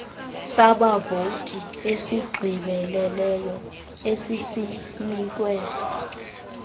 sabavoti esigqibeleleyo esisinikwe